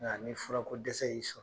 Ŋa ni furako dɛsɛ y'i sɔrɔ